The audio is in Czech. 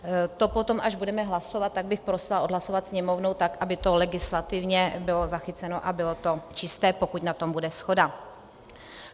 To potom, až budeme hlasovat, tak bych prosila odhlasovat Sněmovnu tak, aby to legislativně bylo zachyceno a bylo to čisté, pokud na tom bude shoda.